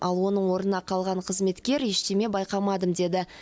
ал оның орнына қалған қызметкер ештеңе байқамадым деді